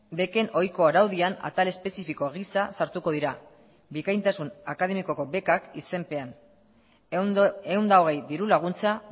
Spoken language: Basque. beken ohiko araudian atal espezifiko gisa sartuko dira bikaintasun akademikoko bekak izenpean ehun eta hogei dirulaguntza